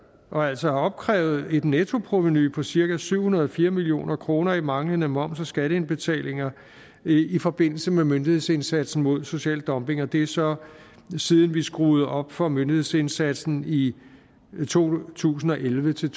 og altså opkrævet et nettoprovenu på cirka syv hundrede og fire million kroner i manglende moms og skatteindbetalinger i forbindelse med myndighedsindsatsen mod social dumping og det er så siden vi skruede op for myndighedsindsatsen i to tusind og elleve til